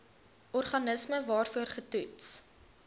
organisme waarvoor getoets